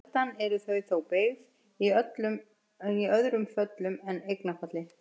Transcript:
Sjaldan eru þau þó beygð í öðrum föllum en eignarfalli.